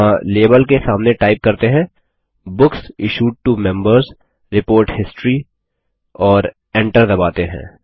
यहाँ लाबेल के सामने टाइप करते हैं books issued to Members report history और Enter दबाते हैं